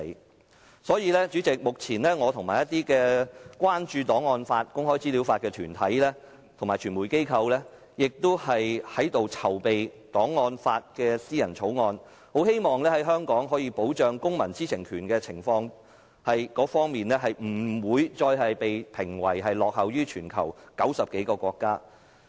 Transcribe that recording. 有鑒於此，主席，目前我和一些關注檔案法和公開資料法的團體和傳媒機構正在籌備有關檔案法的私人法案，希望香港在保障公民知情權方面，不會再被評為落後全球90多個國家。